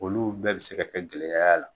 Olu bɛɛ bi se ka kɛ gɛlɛya y'a la.